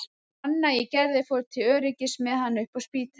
Anna í Gerði fór til öryggis með hana upp á Spítala.